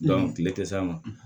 tile tɛ s'a ma